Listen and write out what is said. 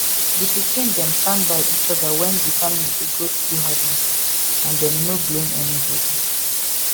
di pikin dem stand by each other when di family dey go through hard matter and dem no blame anybody